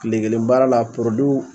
Kile kelen baara la porodiw